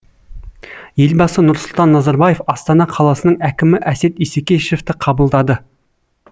елбасы нұрсұлтан назарбаев астана қаласының әкімі әсет исекешевті қабылдады